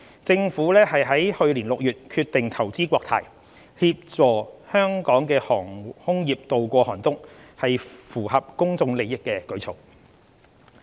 政府於去年6月決定投資國泰，協助香港的航空業渡過寒冬，屬符合公眾利益的舉措。